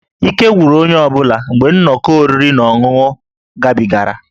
Ike gwụrụ onye ọ bụla mgbe nnọkọ oriri na ọṅụṅụ gabigara